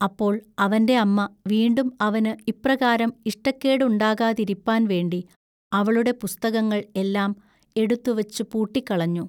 അപ്പോൾ അവന്റെ അമ്മ വീണ്ടും അവനു ഇപ്രകാരം ഇഷ്ടക്കേടുണ്ടാകാതിരിപ്പാൻ വേണ്ടി അവളുടെ പുസ്തകങ്ങൾ എല്ലാം എടുത്തു വച്ചുപൂട്ടിക്കളഞ്ഞു.